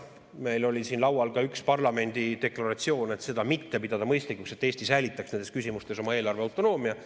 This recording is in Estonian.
Meil oli siin laual ka üks parlamendi deklaratsioon, et seda mitte pidada mõistlikuks ja Eesti säilitaks nendes küsimustes oma eelarveautonoomia.